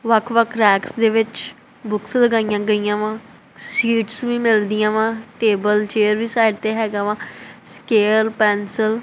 ਵੱਖ ਵੱਖ ਰੈਕਸ ਦੇ ਵਿੱਚ ਬੁੱਕਸ ਲਗਾਈਆਂ ਗਈਆਂ ਵਾਂ ਸੀਟਸ ਵੀ ਮਿਲਦੀਆਂ ਵਾਂ ਟੇਬਲ ਚੇਅਰ ਵੀ ਸਾਈਡ ਤੇ ਹੈਗਾ ਵਾ ਸਕੈਲ ਪੈਂਸਿਲ --